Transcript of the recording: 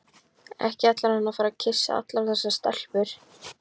Ekki ætlaði hann að fara að kyssa allar þessar stelpur.